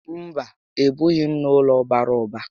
Mba, e bighi m n'ụlọ bàrà ụba